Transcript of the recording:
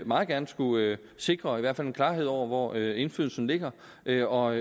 meget gerne skulle sikre i hvert fald en klarhed over hvor indflydelsen ligger ligger og